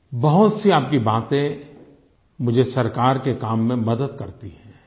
बहुत सी आपकी बातें मुझे सरकार के काम में मदद करती हैं